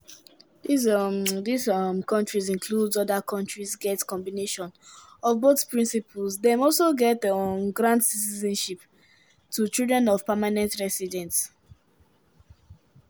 these um these um kontris include: oda kontris get combination of both principles dem also dey um grant citizenship to children of permanent residents.